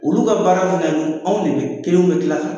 Olu ka baara filɛ nin anw de be la